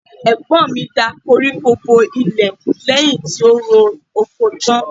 Ẹ̀gbọ́n mi da koríko bo ilẹ̀ lẹ́yìn tó roko tán.